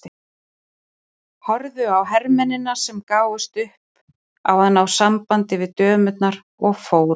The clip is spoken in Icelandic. Horfði á hermennina sem gáfust upp á að ná sambandi við dömurnar og fóru.